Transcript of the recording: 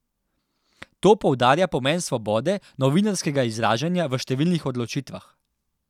To poudarja pomen svobode novinarskega izražanja v številnih odločitvah.